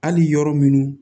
Hali yɔrɔ minnu